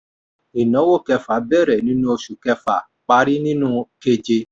ìnáwó kẹfà bẹrẹ nínú oṣù kẹfà parí nínú keje.